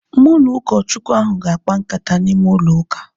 Mụ na ụkọ Chukwu ahu ga-akpa nkata n'ime ụlọ ụka